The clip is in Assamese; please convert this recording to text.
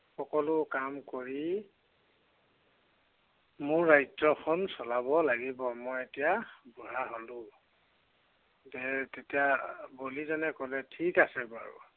সকলো কাম কৰি মোৰ ৰাজ্য়খন চলাব লাগিব। মই এতিয়া বুঢ়া হলো। এৰ তেতিয়া বলিজনে কলে, ছিক আছে বাৰু।